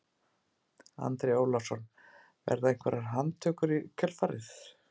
Andri Ólafsson: Verða einhverjar handtökur í kjölfarið?